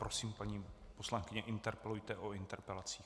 Prosím, paní poslankyně, interpelujte o interpelacích.